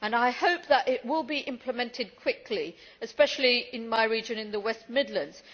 I hope that it will be implemented quickly, especially in my region, in the West Midlands.